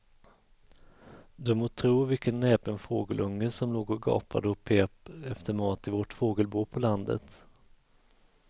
Du må tro vilken näpen fågelunge som låg och gapade och pep efter mat i vårt fågelbo på landet.